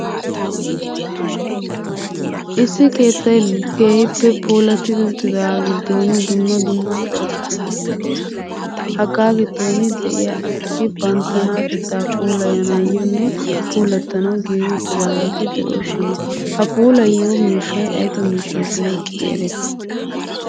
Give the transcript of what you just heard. Issi keettay keehippe puulattidi uttidaaga giddon dumma dumma cora asati de'oosona. Hagaa giddon de'iyaa asati banttanatetta puulayanayyonne puulatanaw giigi uttidaageeti de'oosona. Ha puulayyiyo miishshay ayba miishsha getetti eretti?